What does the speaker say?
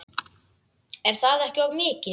Er það ekki of mikið?